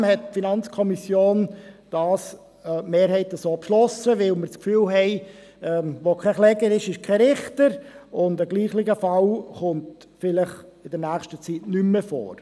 Trotzdem hat die Mehrheit der FiKo das so beschlossen, weil wir der Meinung sind: Wo kein Kläger ist, ist kein Richter; und ein gleicher Fall kommt vielleicht in nächster Zeit nicht mehr vor.